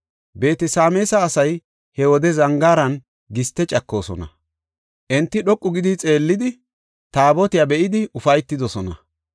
Beet-Sameesa asay he wode zangaaran giste cakoosona; enti dhoqu gidi xeellidi, Taabotiya be7idi ufaytidosona.